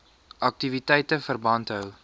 aktiwiteite verband hou